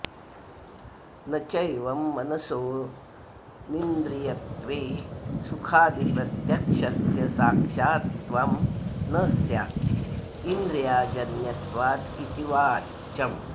न चैवं मनसोऽनिन्द्रियत्वे सुखादिप्रत्यक्षस्य साक्षात्त्वं न स्यात् इन्द्रियाजन्यत्वादिति वाच्यम्